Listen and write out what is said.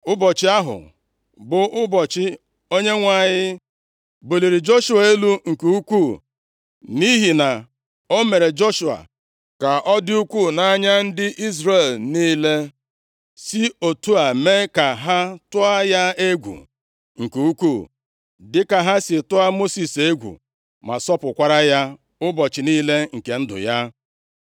Ụbọchị ahụ bụ ụbọchị Onyenwe anyị buliri Joshua elu nke ukwuu nʼihi na o mere Joshua ka ọ dị ukwuu nʼanya ndị Izrel niile, si otu a mee ka ha tụọ ya egwu nke ukwuu dịka ha si tụọ Mosis egwu, ma sọpụkwara ya ụbọchị niile nke ndụ ya.